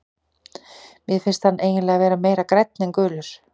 Mér finnst hann eiginlega vera meira grænn en gulur.